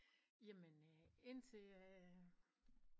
Jamen indtil